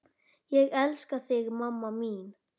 Ég elska þig mamma mín.